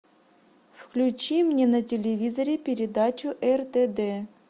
включи мне на телевизоре передачу ртд